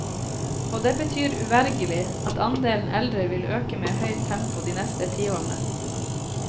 Og det betyr uvegerlig at andelen eldre vil øke med høyt tempo de neste tiårene.